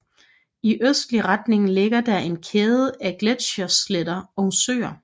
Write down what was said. I østlig retning ligger der en kæde af gletschersletter og søer